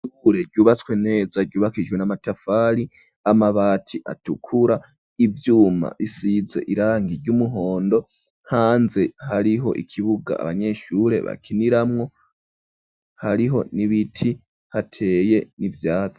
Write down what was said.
Ishure ryubatswe neza ryubakijwe n'amatafari, amabati atukura, ivyuma bisize irangi ry'umuhondo, hanze hariho ikibuga abanyeshure bakiniramwo, hariho n'ibiti hateye ivyatsi.